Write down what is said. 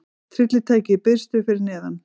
Tryllitækið í biðstöðu fyrir neðan.